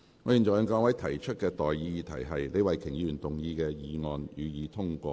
我現在向各位提出的待議議題是：李慧琼議員動議的議案，予以通過。